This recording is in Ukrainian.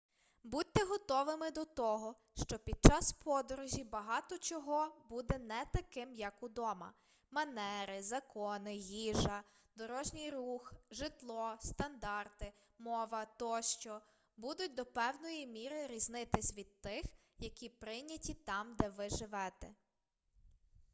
будьте готовими до того що під час подорожі багато чого буде не таким як удома манери закони їжа дорожній рух житло стандарти мова тощо будуть до певної міри різнитись від тих які прийняті там де ви живете